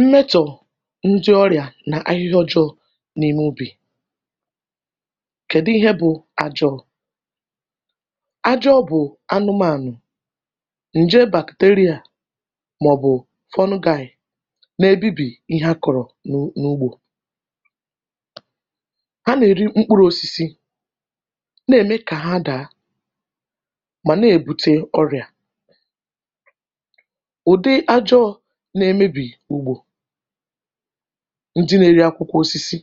Mmetọ̀ ndị ọrị̀à nà ahịhịa ọjọọ̇ nà ime ubì, kedụ ihe bụ̇ ajọọ̇? ajọọ̇ bụ̀ anụmànụ̀ ǹje bacteria màọ̀bụ̀ fungi nà ebibi ihe akụ̀rụ̀ na n’ugbȯ, ha nà-eri mkpuru osisi nà-ème kà ha daa mà nà-èbute ọrị̀à, ụdị ajọọ nà-emebì ùgbò, ndị nà-erì akwụkwọ̇ osisi